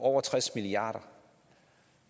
over tres milliarder